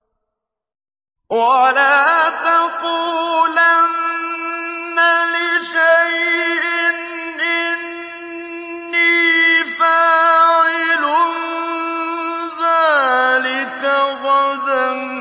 وَلَا تَقُولَنَّ لِشَيْءٍ إِنِّي فَاعِلٌ ذَٰلِكَ غَدًا